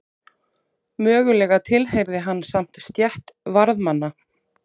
Mögulega tilheyrði hann samt stétt varðmanna.